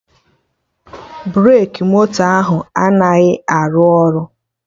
Breki moto ahụ anaghị arụ ọrụ